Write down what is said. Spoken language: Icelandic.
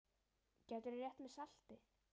Gætirðu rétt mér saltið?